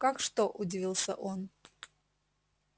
как что удивился он